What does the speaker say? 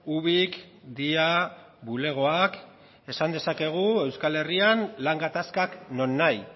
ubik dia bulegoak esan dezakegu euskal herrian lan gatazkak non nahi